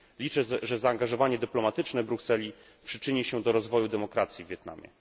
Liczę, że zaangażowanie dyplomatyczne Brukseli przyczyni się do rozwoju demokracji w Wietnamie.